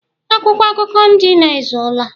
Akwụkwọ akụkọ ndị a ezuola?